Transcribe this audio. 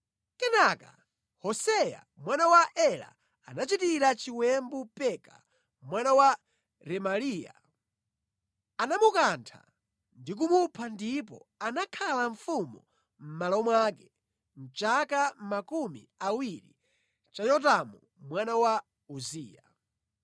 Kenaka Hoseya mwana wa Ela anachitira chiwembu Peka mwana wa Remaliya. Anamukantha ndi kumupha ndipo anakhala mfumu mʼmalo mwake mʼchaka makumi awiri cha Yotamu mwana wa Uziya.